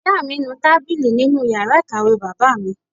Ìyá mi ń nu tábìlì nínú yàrá ìkàwé bàbá mi